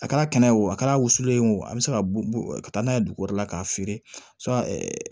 A kɛra kɛnɛ ye o a kɛra wusulen ye o a bɛ se ka taa n'a ye dugu wɛrɛ la k'a feere